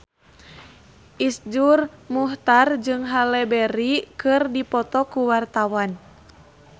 Iszur Muchtar jeung Halle Berry keur dipoto ku wartawan